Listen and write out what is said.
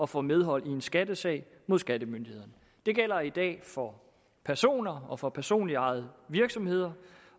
få medhold i en skattesag mod skattemyndighederne det gælder i dag for personer og for personligt ejede virksomheder